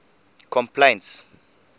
complaints